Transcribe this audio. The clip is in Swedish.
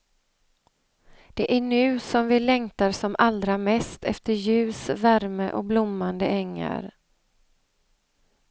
Det är nu som vi längtar som allra mest efter ljus, värme och blommande ängar.